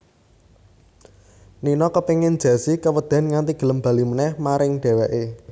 Nino kepéngin Jessi kewedèn nganti gelem bali manèh maring dhèwèké